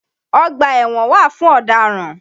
Ọ̀gbà ẹ̀wọ̀n wà fún ọ̀dáràn.